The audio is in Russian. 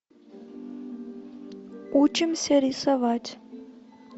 учимся рисовать